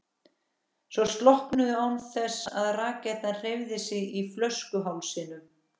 og slokknuðu án þess að rakettan hreyfði sig í flöskuhálsinum.